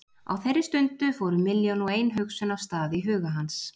Á þeirri stundu fóru milljón og ein hugsun af stað í huga hans.